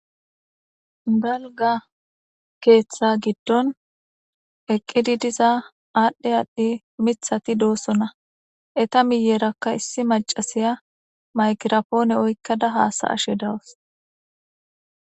Dalga keeththa giddon eqqidi diza aadhdhe aadhdhi mithati doossona eta miyeerakka issi macasiya makirapoone oykkada haasa ashe dawus